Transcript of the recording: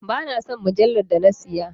Ba na son mujallar da na siya,.